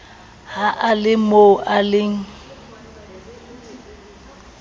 ha e lemoo e le